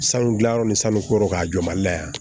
Sanu gilan yɔrɔ ni sanu ko kɔrɔw ka jɔ mali la yan